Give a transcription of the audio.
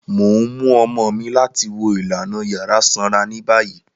Mo n mu ọmọ mi lati wo ilana ilana yara sanra ni bayi.